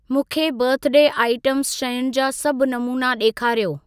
मूंखे birthday item शयुनि जा सभ नमूना ॾेखारियो।